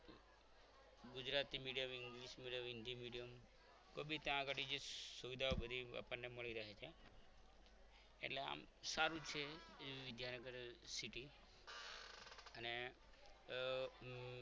Gujarati medium english medium Hindi medium કોઈ બી ત્યાં આગળ સુવિધા આપણને મળી રહે છે એટલે આમ સારું જ છે વિદ્યાનગર city અને